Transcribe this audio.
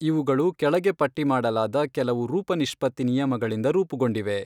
ಇವುಗಳು ಕೆಳಗೆ ಪಟ್ಟಿ ಮಾಡಲಾದ ಕೆಲವು ರೂಪನಿಷ್ಪತ್ತಿ ನಿಯಮಗಳಿಂದ ರೂಪುಗೊಂಡಿವೆ.